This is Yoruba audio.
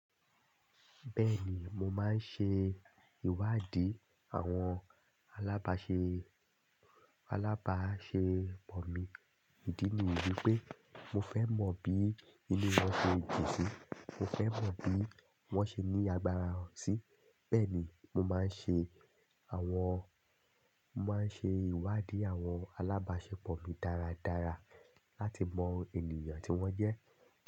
Bẹ́ẹ̀ni, mo máa ń ṣe ìwádìí àwọn alábáṣepọ̀ mi. Ìdí ni wípé mo fẹ́ mọ̀ bí inú wọn ṣe dun sí, mo fẹ́ mọ̀ bí wón ṣe ní agbára sí. Bẹ́ẹ̀ ni mo máa ń ṣe àwọn, màá ń ṣe ìwádìí àwọn alábáṣepọ̀ mi dáradára láti mọ ènìyàn tí wón jẹ́.